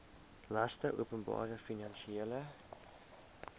laste openbare finansiële